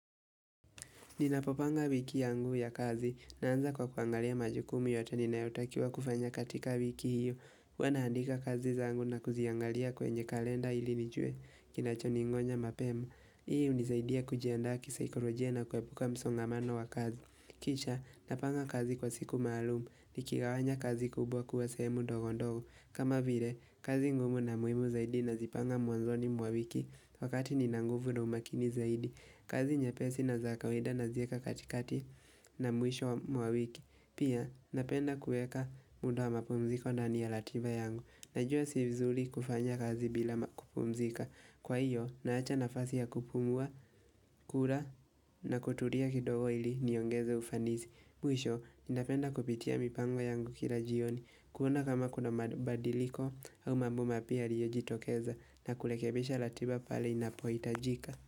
Ninapopanga wiki yangu ya kazi naanza kwa kuangalia majukumu yote ninayotakiwa kufanya katika wiki hiyo Huwa naandika kazi zangu na kuziangalia kwenye kalenda ili nijue kinachoningoja mapema. Hii unizaidia kujiandaa kisaikolojia na kuepuka msongamano wa kazi. Kisha napanga kazi kwa siku maalum nikigawanya kazi kubwa kuwa sehemu ndogo ndogo. Kama vile, kazi ngumu na muhimu zaidi nazipanga mwanzoni mwa wiki wakati nina nguvu na umakini zaidi. Kazi nyepesi na za kawaida naziweka katikati na mwisho wa wiki. Pia napenda kuweka muda wa mapumziko ndani ya ratiba yangu Najua si vizuri kufanya kazi bila kupumzika. Kwa hiyo, naacha nafasi ya kupumua, kula na kutulia kidogo ili niongeze ufanisi. Mwisho, napenda kupitia mipango yangu kila jioni, kuona kama kuna mabadiliko au mambo mapya yaliyoyojitokeza na kurekebisha ratiba pale inapoitajika.